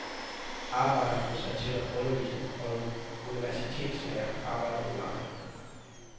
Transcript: Arbejdere blev sat til at undervise, og universitetslærere arbejdede i marken.